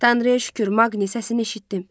Tanrıya şükür, Maqnin səsini eşitdim.